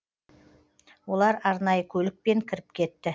олар арнайы көлікпен кіріп кетті